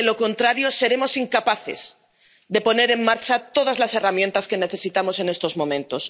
de lo contrario seremos incapaces de poner en marcha todas las herramientas que necesitamos en estos momentos.